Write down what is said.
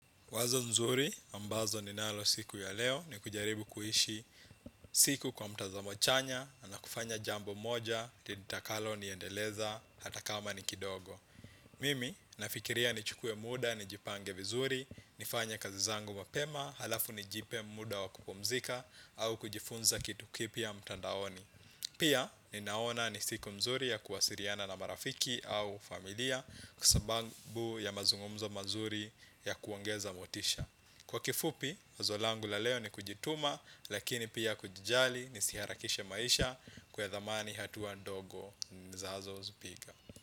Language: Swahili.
Wazo nzuri ambalo ninalo siku ya leo ni kujaribu kuishi siku kwa mtazamo chanya na kufanya jambo moja litakalo niendeleza hata kama ni kidogo. Mimi nafikiria nichukue muda nijipange vizuri, nifanye kazi zangu mapema halafu nijipe muda wa kupumzika au kujifunza kitu kipya mtandaoni. Pia ninaona ni siku nzuri ya kuwasiliana na marafiki au familia kwa sababu ya mazungumzo mazuri ya kuongeza motisha. Kwa kifupi, wazo langu la leo ni kujituma lakini pia kujijali nisiharakishe maisha kuthamini hatua ndogo ninazozipiga.